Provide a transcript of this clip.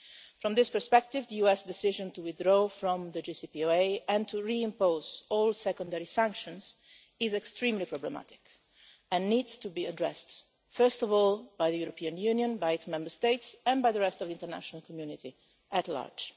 From this perspective, the US decision to withdraw from the JCPOA and to re-impose all secondary sanctions is extremely problematic and needs to be addressed, first of all by the European Union, by its Member States, and by the rest of the international community at large.